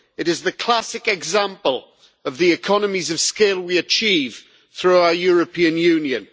It is the classic example of the economies of scale we achieve through our European Union.